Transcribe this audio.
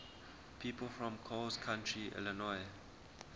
people from coles county illinois